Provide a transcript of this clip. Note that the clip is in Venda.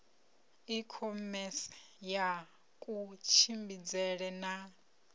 i khomese ya kutshimbidzele na